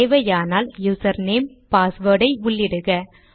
தேவையானால் user name password ஐ உள்ளிடுக